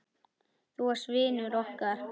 Þú varst vinur okkar.